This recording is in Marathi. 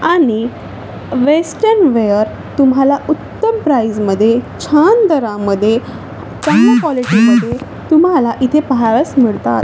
आणि वेस्टर्न वेअर तुम्हाला उत्तम प्राइज मध्ये छान दरामध्ये चांगल्या क्वॉलिटी मध्ये तुम्हाला इथे पाहावयास मिळतात.